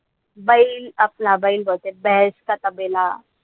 बैल आपला बैल बोलते चा तबेला.